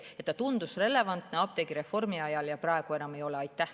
See tundus relevantne apteegireformi ajal, aga praegu see seda enam ei ole.